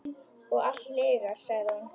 Og allt lygar, sagði hún.